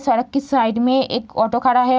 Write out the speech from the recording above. सड़क के साइड में एक ऑटो खड़ा है।